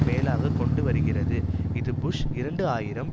மேலாக கொண்டுவருகிறது இது புஷ் இரண்டு ஆயிரம்